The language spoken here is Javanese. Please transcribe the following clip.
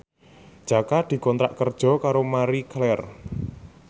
Jaka dikontrak kerja karo Marie Claire